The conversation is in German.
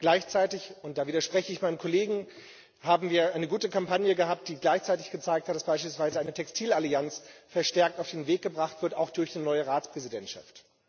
Gleichzeitig und da widerspreche ich meinem Kollegen haben wir eine gute Kampagne gehabt, die gleichzeitig gezeigt hat, dass beispielsweise eine Textil-Allianz verstärkt auf den Weg gebracht wird, auch durch die neue Ratspräsidentschaft.